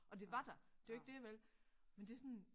Og det var der det jo ikke det vel men det sådan